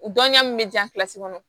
Dɔnniya min bɛ diya kɔnɔ